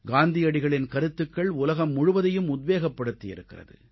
காந்தியடிகளின் கருத்துகள் உலகம் முழுவதையும் உத்வேகப்படுத்தி இருக்கிறது